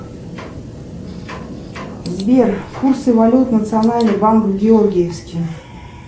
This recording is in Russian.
сбер курсы валют национальный банк в георгиевске